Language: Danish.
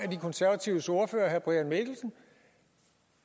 de konservatives ordfører herre brian mikkelsen at